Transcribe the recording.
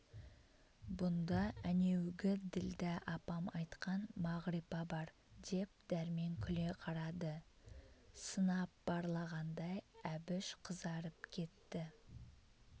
бұнда әнеугі ділдә апам айтқан мағрипа бар деп дәрмен күле қарады сынап барлағандай әбіш қызарып кетті